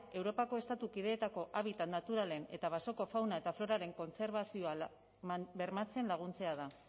europako estatu kideetako habitat naturalen eta basoko fauna eta floraren kontserbazioa bermatzen laguntzea da